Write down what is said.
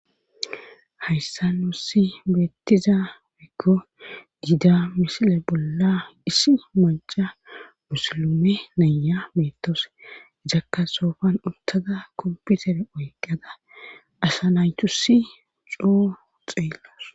Hayssa nuussi beettiza biggo giida misile bolla issi maca musilume naya meettos jakka soofan uttada komputer oyqqada asa naytusi coo xeellos.